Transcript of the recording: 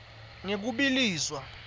ngekubiliswa